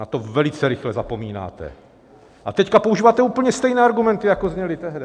Na to velice rychle zapomínáte a teď používáte úplně stejné argumenty, jako zněly tehdy.